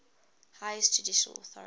highest judicial authority